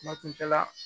Kuma tun tɛ ka